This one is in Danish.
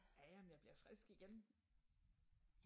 Ja ja men jeg bliver frisk igen